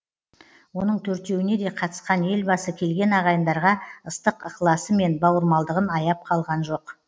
оның төртеуіне де қатысқан елбасы келген ағайындарға ыстық ықыласы мен бауырмалдығын аяп қалған жоқ